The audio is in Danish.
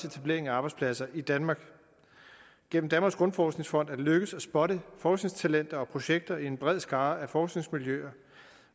etablering af arbejdspladser i danmark gennem danmarks grundforskningsfond er det lykkedes at spotte forskningstalenter og projekter i en bred skare af forskningsmiljøer